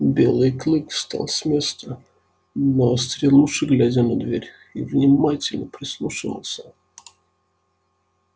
белый клык встал с места навострил уши глядя на дверь и внимательно прислушивался